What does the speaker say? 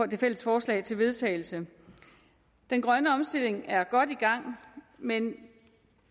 det fælles forslag til vedtagelse den grønne omstilling er godt i gang men